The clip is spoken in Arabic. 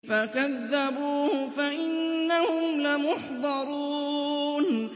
فَكَذَّبُوهُ فَإِنَّهُمْ لَمُحْضَرُونَ